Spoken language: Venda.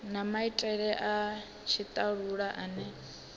na maitele a tshitalula ane